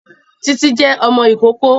Títí jẹ́ ọmọ ìkókó